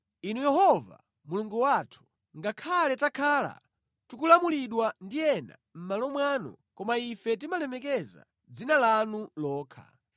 Inu Yehova Mulungu wathu, ngakhale takhala tikulamulidwa ndi ena mʼmalo mwanu, koma ife timalemekeza dzina lanu lokha.